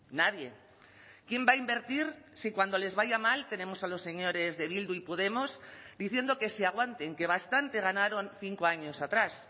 nadie quién va a invertir si cuando les vaya mal tenemos a los señores de bildu y podemos diciendo que se aguanten que bastante ganaron cinco años atrás